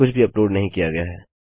कुछ भी अपलोड नहीं किया गया है